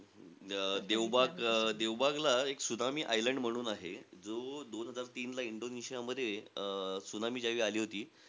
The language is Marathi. अं देवबाग देवबागला एक त्सुनामी आयलंड म्हणून आहे. जो दोन हजार तीनला इंडोनेशियामध्ये, अं त्सुनामी ज्या वेळी आली होती,